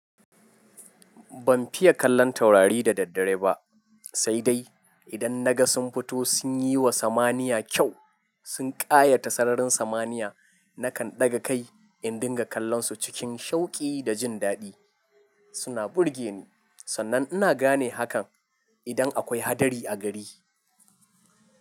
Ban fiye kallon taurari da daddare ba, sai dai idan na ga sun fito sun yi wa samaniya kyau, sun ƙayata sararin samaniya, na kan ɗaga kai in dinga kallonsu cikin shauƙi da jin daɗi. Suna burge ni, sannan ina gane hakan idan akwai hadari a gari.